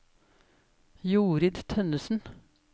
Jorid Tønnessen